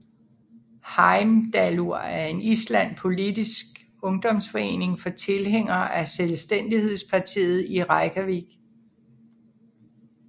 Heimdallur er en islandsk politisk ungdomsforening for tilhængere af Selvstændighedspartiet i Reykjavík